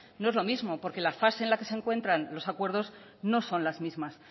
no es lo mismo porque la fase en la que se encuentran los acuerdos no son las mismas